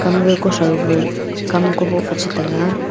hamga kuthrou fe kam kamboh fe chetega.